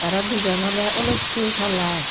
tara dijon ole olloytte colour.